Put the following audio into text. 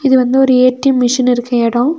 இது வந்து ஒரு ஏ_டி_எம் மெஷின் இருக்க இடோ.